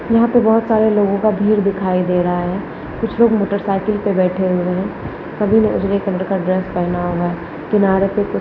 यहाँ पे बहुत सारे लोगों का भीड़ दिखाई दे रहा है कुछ लोग मोटरसाइकिल पे बैठे हुए है सभी ने उजले कलर का ड्रेस पहना हुआ है किनारे पर --